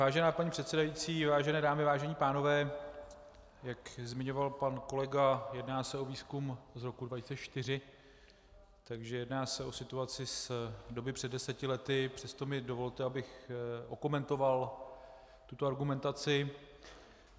Vážená paní předsedající, vážené dámy, vážení pánové, jak zmiňoval pan kolega, jedná se o výzkum z roku 2004, takže se jedná o situaci z doby před deseti lety, přesto mi dovolte, abych okomentoval tuto argumentaci.